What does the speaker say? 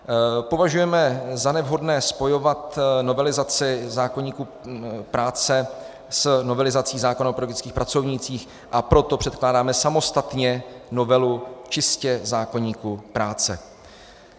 Považujeme za nevhodné spojovat novelizaci zákoníku práce s novelizací zákona o pedagogických pracovnících, a proto předkládáme samostatně novelu čistě zákoníku práce.